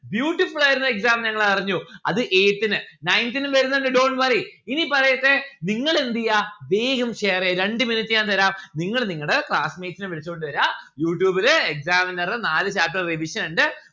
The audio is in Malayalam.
beautiful ആയിരുന്നു exam ഞങ്ങൾ അറിഞ്ഞു. അത് eighth ന് nineth നും വരുന്നിണ്ട് dont worry ഇനി പറയട്ടെ നിങ്ങൾ എന്തെയ്യാ വേഗം share എയ്യ രണ്ട് minute ഞാൻ തരാം നിങ്ങള് നിങ്ങൾടെ classmates നെ വിളിച്ചോണ്ട് വെരാ യൂട്യൂബിലെ examiner രെ നാല് chapter revision ഇണ്ട്